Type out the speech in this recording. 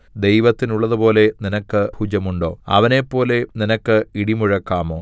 ദൈവത്തിനുള്ളതുപോലെ നിനക്ക് ഭുജം ഉണ്ടോ അവനെപ്പോലെ നിനക്ക് ഇടിമുഴക്കാമോ